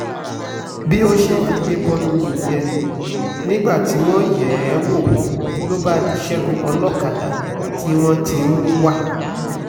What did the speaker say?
bó ṣe figbe bọnu nìyẹn nígbà tí wọ́n yẹ̀ ẹ́ wò ló di ṣẹ́gun olókàdá tí wọ́n ti ń wá